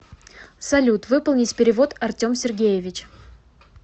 салют выполнить перевод артем сергеевич